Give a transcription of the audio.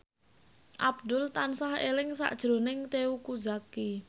Abdul tansah eling sakjroning Teuku Zacky